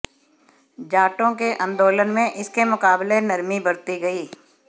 जाटों के आंदोलन में इसके मुकाबले नरमी बरती गई